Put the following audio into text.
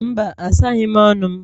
Mba, asaghị m ọnụ m.